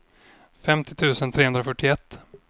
femtio tusen trehundrafyrtioett